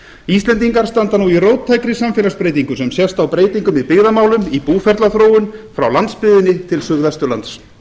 íslendingar standa nú í róttækri samfélagsbreytingu sem sést á breytingum í byggðamálum í búferlaþróun frá landsbyggðinni til suðvesturlands